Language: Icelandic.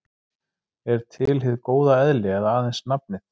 Er til hið góða eðli eða aðeins nafnið?